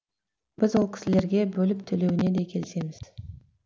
біз ол кісілерге бөліп төлеуіне де келісеміз